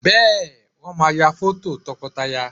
Bẹ́ẹ̀, Wọ́n máa ya fọ́tò tọkọtaya